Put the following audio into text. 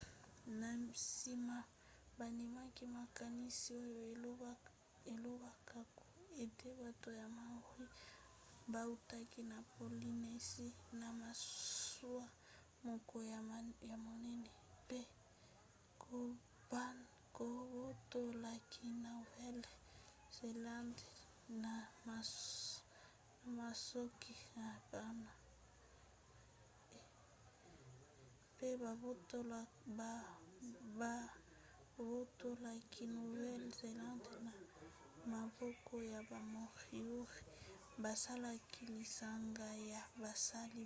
na nsima bandimaki makanisi oyo elobaka ete bato ya maori bautaki na polynésie na masuwa moko ya monene mpe babotolaki nouvelle-zélande na maboko ya ba moriori basalaki lisanga ya basali-bilanga